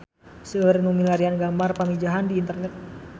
Seueur nu milarian gambar Pamijahan di internet